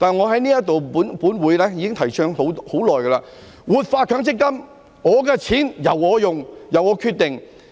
可是，我在本會上已經提倡了很久，就是要活化強積金，我的錢由我使用、由我決定。